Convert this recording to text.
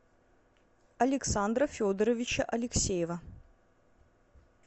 александра федоровича алексеева